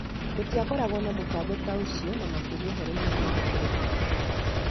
Gũtiakoragwo na mũbango ta ũcio, na makĩria ũhoro-inĩ wĩgiĩ kũrĩha micara"